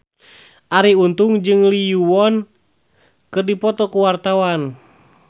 Arie Untung jeung Lee Yo Won keur dipoto ku wartawan